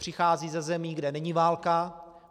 Přicházejí ze zemí, kde není válka.